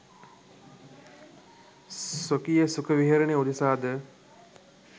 ස්වකීය සුඛ විහරණය උදෙසා ද